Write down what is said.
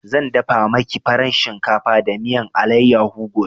Zan dafa maki farin shinkafa da miyan allayaho gobe